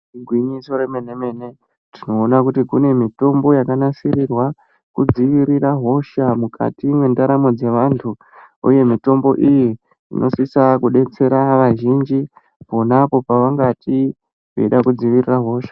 Igwinyiso remene-mene tinoona kuti kune mitombo yakanasirirwa kudzivirira hosha mukati mwendaramo dzevantu, uye mitombo iyi inosisa kubetsera vazhinji panapo pavangati veida kudzivirira hosha.